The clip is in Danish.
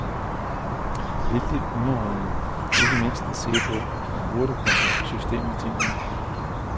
Vældigt underholdende, ikke mindst at se på, og hurtigt kom der system i tingene.